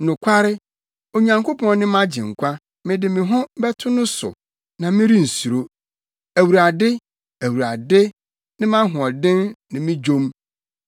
Nokware, Onyankopɔn ne mʼagyenkwa; mede me ho bɛto no so, na merensuro. Awurade, Awurade ne mʼahoɔden ne me dwom; na wabɛyɛ me nkwagye.”